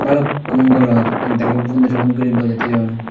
bhalukkun goloj ek dagi punduriubot guri bojey thoyun.